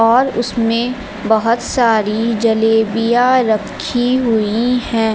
और उसमें बहुत सारी जलेबियां रखी हुई है।